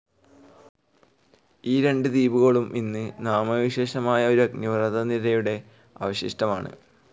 ഈ രണ്ട് ദ്വീപുകളും ഇന്ന് നാമവിശേഷമായ ഒരു അഗ്നിപർവ്വത നിരയുടെ അവശിഷ്ടം ആണ്.